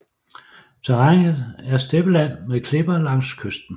Terrænet er steppeland med klipper langs kysten